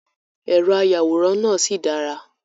Èrò ayàwòrán náà sì dára.